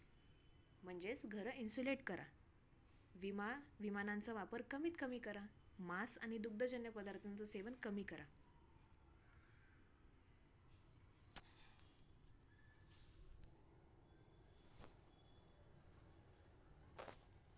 म्हणजेच घरं insulate करा. विमान विमानांचा वापर कमीतकमी करा. मांस आणि दुगधजन्य पदार्थांचं सेवन कमी करा.